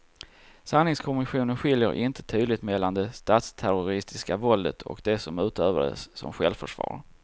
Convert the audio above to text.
Sanningskommissionen skiljer inte tydligt mellan det statsterroristiska våldet och det som utövades som självförsvar.